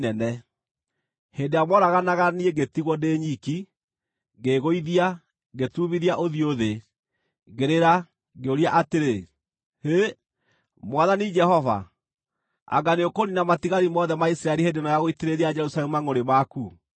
Hĩndĩ ĩrĩa mooraganaga niĩ ngĩtigwo ndĩ nyiki, ngĩĩgũithia, ngĩturumithia ũthiũ thĩ, ngĩrĩra, ngĩũria atĩrĩ, “Hĩ, Mwathani Jehova! Anga nĩũkũniina matigari mothe ma Isiraeli hĩndĩ ĩno ya gũitĩrĩria Jerusalemu mangʼũrĩ maku?”